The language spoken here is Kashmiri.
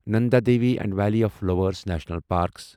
Nanda Devi and valley of flowers national parks